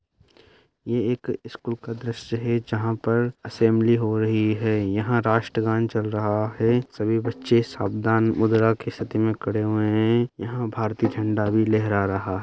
ये एक स्कूल का दृश्य है जहां पर असेंबली हो रही है यह राष्ट्र गान चल रहा है सभी बच्चे सावधान वगेरा के स्थिति में खड़े हुए हैं यहां भारतीय झंडा भी लहरा रहा है।